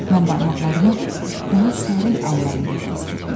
Mən barmaqlarımı onun sərin əllərində gəzdirdim.